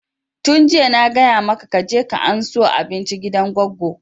Tun jiya na gaya maka ka je ka ansa abinci gidan goggo!